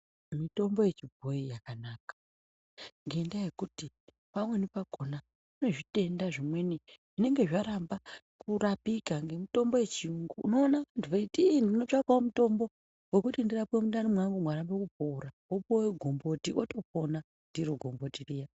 Mitombo yechibhoyi yakanaka ngendaa yekuti, pamweni pakhona kune zvitenda zvimweni zvinenge zvaramba kurapika ngemutombo we chiyungu. Unoona muntu eiti, ndinotsvakawo mutombo wekuti ndirapwe mundani mwangu mwarambe kupora, wopuwe gomboti wotopona ndiro gomboti riya .